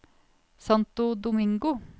Santo Domingo